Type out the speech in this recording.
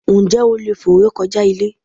Ǹjẹ́ o leè fò re kojá Ilé?